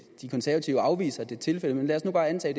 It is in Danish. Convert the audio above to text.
de konservative afviser at det er tilfældet men lad os nu bare antage